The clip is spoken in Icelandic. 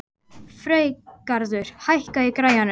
Freygarður, hækkaðu í græjunum.